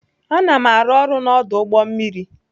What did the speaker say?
Ana m arụ ọrụ n'ọdụ ụgbọ mmiri.